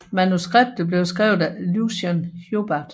Manuskriptet blev skrevet af Lucien Hubbard